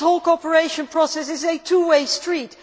This whole cooperation process is a two way street.